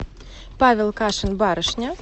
павел кашин барышня